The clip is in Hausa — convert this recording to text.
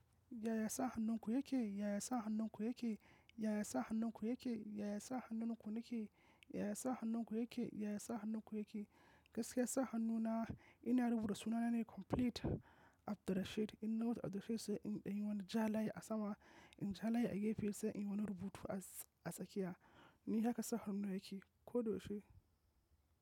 Yaya sa hannun ku yake? Yaya sa hannun ku yake? Yaya sa hannun ku yake? Yaya sa hannun ku yake? Yaya sa hannun ku yake? Yaya sa hannun ku yake? Gaskiya sa hannu na ina rubuta sunana ne complete Abdirashid. Ina wata Abdirashid sai in ɗanyi wani jala a sama, in jala ya gefe sai in wani rubutu a tsakiya. Ni haka sa hannu na yake ko da yaushe.